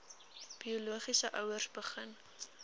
biologiese ouers begin